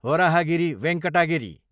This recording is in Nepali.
वराहगिरी वेंकटा गिरी